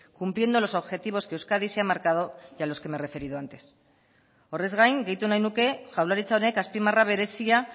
cumpliendo los objetivos que euskadi se ha marcado y a los que me he referido antes horrez gain gehitu nahi nuke jaurlaritza honek azpimarra berezia